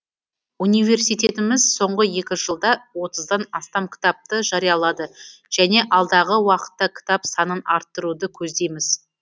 университетіміз соңғы екі жылда отыздан астам кітапты жариялады және алдағы уақытта кітап санын арттыруды көздейміз